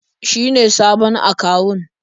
Shi ne sabon akawun.